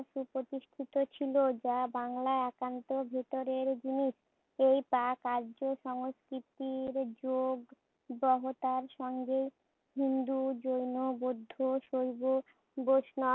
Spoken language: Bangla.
সুপ্রতিষ্ঠিত ছিল। যা বাংলার একান্ত ভেতরের জিনিস। এই প্রাক আর্য সংস্কৃতির যুগ গ্রহতার সঙ্গে হিন্দু, জৈন, বৌদ্ধ, শৈব বৈষ্ণব,